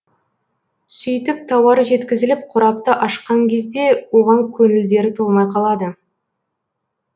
сөйтіп тауар жеткізіліп қорапты ашқан кезде оған көңілдері толмай қалады